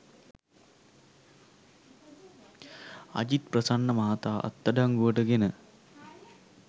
අජිත් ප්‍රසන්න මහතා අත්අඩංගුවට ගෙන